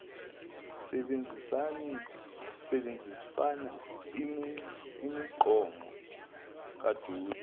sebanzisa imigqomo kadoti